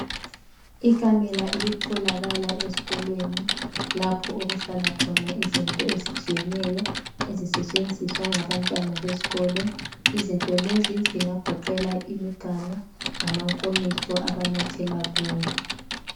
Ikamela elitholakala ezikolweni lapho okuhlala khona izinto ezitshiyeneyo ezisetshenziswa ngabantwana besikolo, izinto lezi zingagoqela imiganu, lamankomitsho abanathela kuwo.